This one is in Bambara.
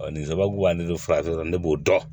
nin sababu ani ne farafin ne b'o dɔn